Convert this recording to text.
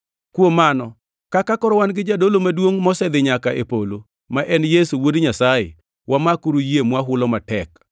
Kuom mano kaka koro wan gi Jadolo Maduongʼ mosedhi nyaka e polo, ma en Yesu Wuod Nyasaye, wamakuru yie mwahulo matek.